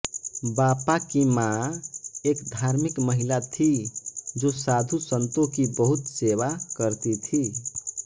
बापा की माँ एक धार्मिक महिला थी जो साधुसन्तों की बहुत सेवा करती थी